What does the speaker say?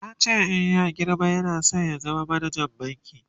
yace in ya girma yana San ya zama manajan banki